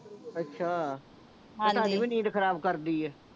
ਅੱਛਾ ਹਾਂਜੀ ਤੁਹਾਡੀ ਵੀ ਨੀਂਦ ਖਰਾਬ ਕਰਦੀ ਆ